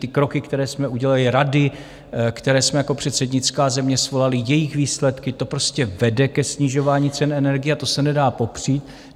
Ty kroky, které jsme udělali, rady, které jsme jako předsednická země svolali, jejich výsledky, to prostě vede ke snižování cen energií a to se nedá popřít.